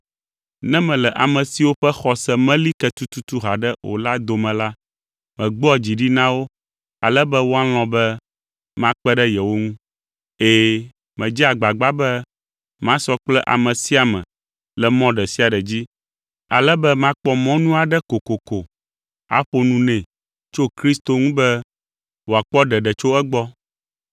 Ne mele ame siwo ƒe xɔse meli ke tututu haɖe o la dome la, megbɔa dzi ɖi na wo ale be woalɔ̃ be makpe ɖe yewo ŋu. Ɛ̃, medzea agbagba be masɔ kple ame sia ame le mɔ ɖe sia ɖe dzi, ale be makpɔ mɔnu aɖe kokoko aƒo nu nɛ tso Kristo ŋu be wòakpɔ ɖeɖe tso egbɔ.